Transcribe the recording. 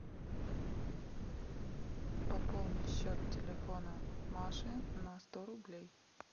пополни счет телефона маши на сто рублей